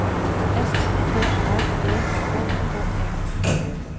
S T R E K K E